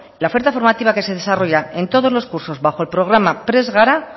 la oferta formativa que se desarrolla en todos los cursos bajo el programa prest gara